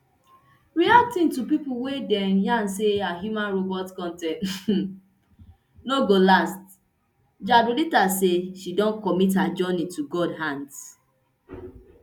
reacting to pipo wey dey yarn say her human robot con ten t um no go last jadrolita say she don commit her journey to god hands